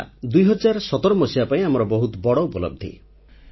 ଏହା 2017 ରେ ଆମ ପାଇଁ ବହୁତ ବଡ଼ ଉପଲବ୍ଧି